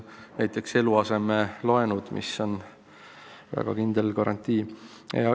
Näiteks võib tuua eluasemelaenud, mis on väga kindel garantii.